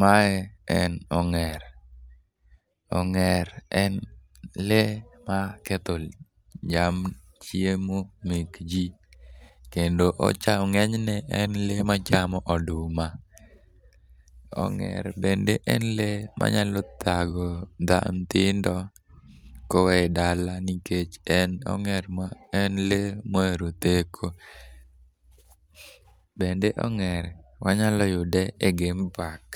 Mae en ong'er. Ong'er en lee maketho cham, chiemo mek ji kendo, ng'enyne , en lee machamo oduma. Ong'er bende en lee manyalo thago nyithindo ka owe e dala nikech en lee ma ohero theko. Bende ong'er wanyalo yude e game park